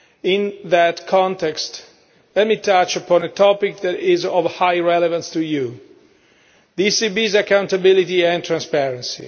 In that context, let me touch upon a topic that is of high relevance to you the ECB's accountability and transparency.